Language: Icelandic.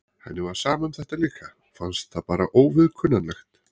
Henni var sama um þetta líka, fannst það bara óviðkunnanlegt.